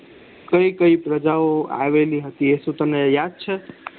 કઈ કઈ પ્રજાઓ આવેલી હતી શું તને યાદ છે